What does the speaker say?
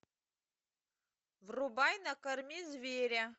врубай накорми зверя